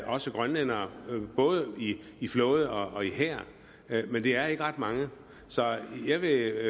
også grønlændere både i flåde og i hær men det er ikke ret mange så jeg vil